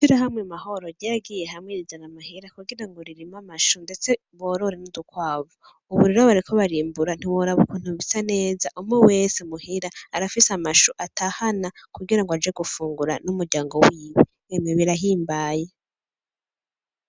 Ishirahamwe Mahoro ryaragiye hamwe rizana amahera kugira ngo ririme amashu ndetse borore n'udukwavu, ubu rero bariko barimbura ntiworaba ukuntu bisa neza umwe wese muhira arafise amashu atahana kugira ngo aje gufungura n'umuryango wiwe, emwe birahimbaye.